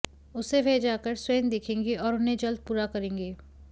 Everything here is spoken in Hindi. उसे वह जाकर स्वयं देखेंगे और उन्हें जल्द पूरा करेंगे